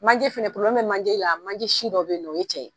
Manje fana dɔ be manje la manje si dɔ beyinɔ o ye cɛ ye.